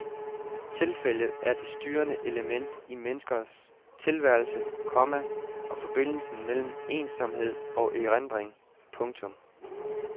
Tilfældet er det styrende element i menneskers tilværelse, komma og forbindelsen mellem ensomhed og erindring. punktum